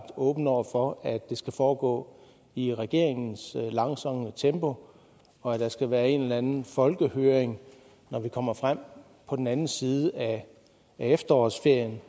åbne over for at det skal foregå i regeringens langsomme tempo og at der skal være en eller anden folkehøring når vi kommer frem på den anden side af efterårsferien